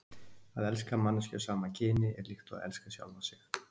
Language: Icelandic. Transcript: Að elska manneskju af sama kyni er líkt og að elska sjálfan sig.